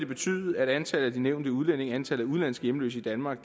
betyde at antallet af de nævnte udlændinge antallet af udenlandske hjemløse i danmark